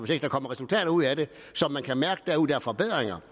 der kommer resultater ud af det forbedringer